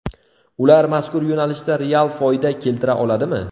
Ular mazkur yo‘nalishda real foyda keltira oladimi?